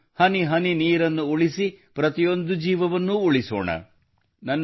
ನಾವು ಹನಿಹನಿ ನೀರನ್ನು ಉಳಿಸಿ ಪ್ರತಿಯೊಂದು ಜೀವವನ್ನೂ ಉಳಿಸೋಣ